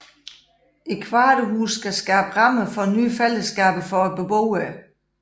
Kvarterhusene skal skabe rammer for nye fællesskaber for beboerne